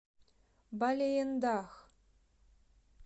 балеендах